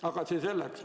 Aga see selleks.